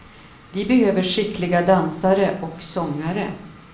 Vi behöver skickliga dansare och sångare.